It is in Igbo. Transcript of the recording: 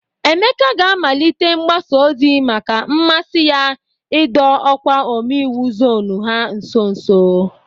Emeka ga-amalite mgbaza ozi maka mmasị ya idọ ọkwa ome iwu zọnụ ha nso nso.